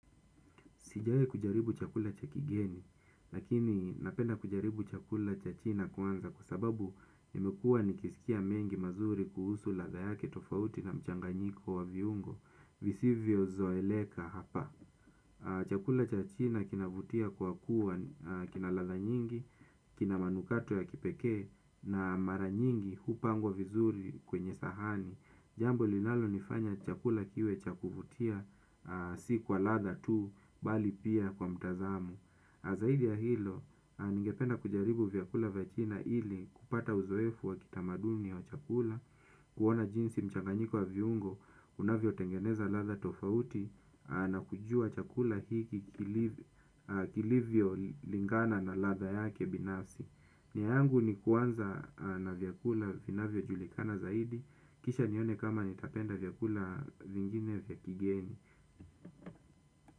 Sijawahi kujaribu chakula cha kigeni, lakini napenda kujaribu chakula cha china kwanza kwa sababu nimekua nikisikia mengi mazuri kuhusu ladha yake tofauti na mchanganyiko wa viungo, visivyo zoeleka hapa. Chakula cha china kina vutia kwa kuwa kinaladha nyingi, kina manukato ya kipeke na mara nyingi hupangwa vizuri kwenye sahani. Jambo linalo nifanya chakula kiwe cha kuvutia si kwa ladha tu bali pia kwa mtazamo zaidi ya hilo ningependa kujaribu vyakula vya china ili kupata uzoefu wa kitamaduni wa chakula kuona jinsi mchanganyiko wa viungo unavyo tengeneza ladha tofauti na kujua chakula hiki kilivyo lingana na ladha yake binafsi. Nia yangu ni kuanza na vyakula vinavyo julikana zaidi. Kisha nione kama nitapenda vyakula vingine vya kigeni.